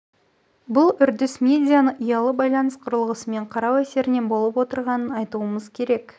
бұл үрдіс медианы ұялы байланыс құрылғысымен қарау әсерінен болып отырғанын айтуымыз керек